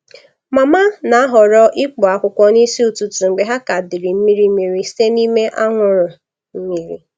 Mama na-ahọrọ ịkpụ akwụkwọ n’isi ụtụtụ mgbe ha ka dịrị mmiri mmiri site n’ime anwụrụ mmiri.